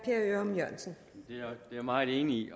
jeg meget enig